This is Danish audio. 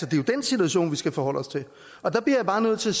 jo den situation vi skal forholde os til og der bliver jeg bare nødt til